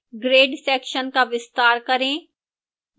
grade section का विस्तार करें